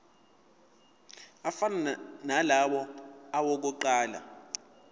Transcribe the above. afana nalawo awokuqala